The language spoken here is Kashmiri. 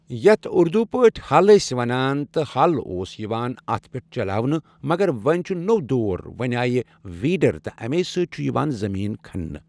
یتھ اردو پٲٹھۍ ہل ٲسۍ ونان تہٕ ہل اوس یِوان اتھ پٮ۪ٹھ چلاونہٕ مگر وۄنۍ چھُ نوُ دور وۄنۍ آیہِ ویٖڑر تہ امے سۭتۍ چھُ یوان زمین کھن نہ۔